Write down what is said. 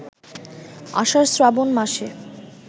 আষাঢ়-শ্রাবণ মাসে